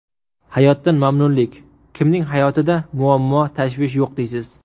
Hayotdan mamnunlik Kimning hayotida muammo, tashvish yo‘q deysiz?